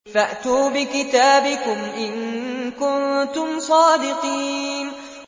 فَأْتُوا بِكِتَابِكُمْ إِن كُنتُمْ صَادِقِينَ